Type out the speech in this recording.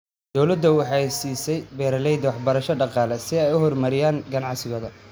Dawladdu waxay siisaa beeralayda waxbarasho dhaqaale si ay u horumariyaan ganacsigooda.